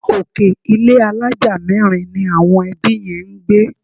Òkè ilé àlája mẹ́rin ni àwọn ẹbí yẹn ń gbé